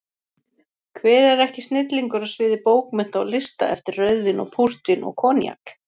Hver er ekki snillingur á sviði bókmennta og lista eftir rauðvín og púrtvín og koníak?